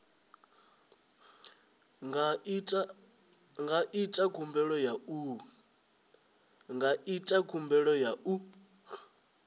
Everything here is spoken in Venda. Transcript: nga ita khumbelo ya u